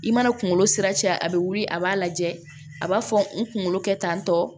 I mana kunkolo sira caya a be wuli a b'a lajɛ a b'a fɔ n kunkolo kɛ tan tɔ